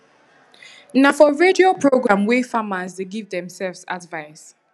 na for radio programwey farmers dey give themselves advice